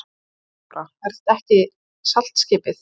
THEODÓRA: Er þetta ekki saltskipið?